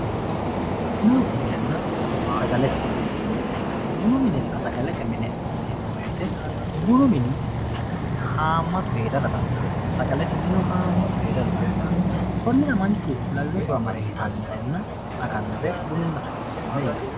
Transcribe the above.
Bunu minenna sagalete mine ,bunu minenna sagalete mine yineemmo woyte bunu mini hamatu heerara dandaano sagalete minino hamatu heerara dandaano konira manchu lawinosiwa marre itanonna aganore bununna sagalete mine.